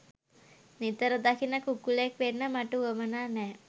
නිතර දකින කුකුලෙක් වෙන්න මට උවමනා නෑ.